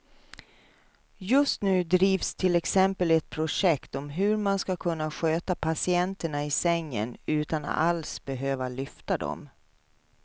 Just nu drivs till exempel ett projekt om hur man ska kunna sköta patienterna i sängen utan att alls behöva lyfta dem.